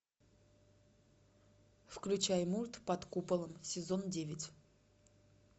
включай мульт под куполом сезон девять